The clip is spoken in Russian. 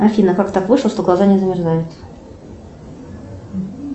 афина как так вышло что глаза не замерзают